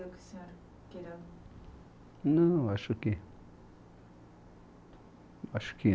O que o senhor queria... Não, acho que... Acho que